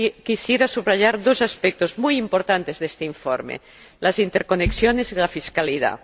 quisiera subrayar dos aspectos muy importantes de este informe las interconexiones y la fiscalidad.